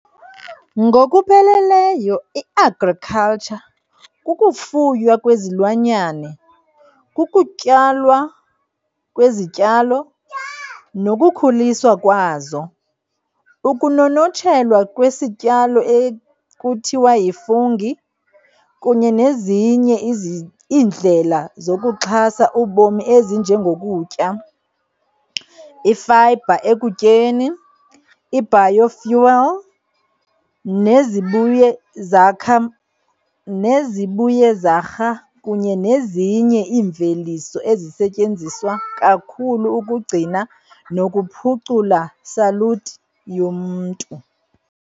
Ngokupheleleyo i-"Agriculture" kukufuywa kwezilwanyane, kukutyalwa kwezityalo nokukhuliswa kwazo, ukunonotshelwa kwesityalo ekuthiwa yi-fungi, kunye nezinye iindlela zokuxhasa ubomi ezinjengokutya, i-fiber ekutyeni, i-biofuel, nezibuyezarha kunye nezinye iimveliso ezisetyenziswa kakhulu ukugcina nokuphucula saluti yomntu.